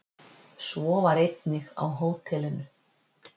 Svo var einnig á hótelinu.